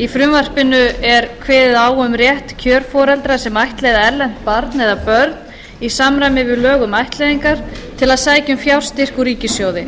í frumvarpinu er kveðið á um rétt kjörforeldra sem ættleiða erlent barn eða börn í samræmi við lög um ættleiðingar til að sækja um fjárstyrk úr ríkissjóði